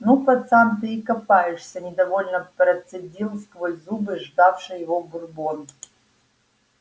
ну пацан ты и копаешься недовольно процедил сквозь зубы ждавший его бурбон